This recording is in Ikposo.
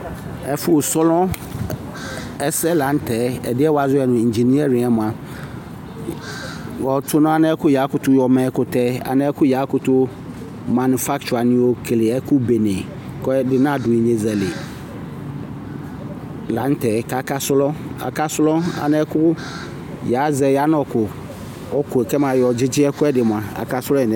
Ɛfʋ slɔŋ ɛsɛ la n'tɛ, ɛdi yɛ wazɔ yɛ nu engineering yɛ mua wɔ tʋ nʋ ɛlɛ kʋ yakʋtʋ ma ɛkutɛ, anɛ kʋ yakʋtʋ manufakture wani keke ɛkʋbɛne kʋ ɛdini nadʋ ignezali la n'tɛ k'aka slɔŋ, aka slɔŋ anɛ kʋ ya zɛ yanu kʋ, ʋkʋ yɛ kɛmayɔ dzidzi ɛkʋɛdi mua, aka slɔŋ yi n'ɛf